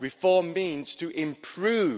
Reform means to improve.